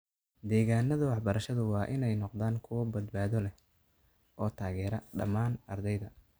Deegaannada waxbarashadu waa inay noqdaan kuwo badbaado leh oo taageera dhammaan ardayda.